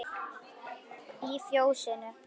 Í Fjósinu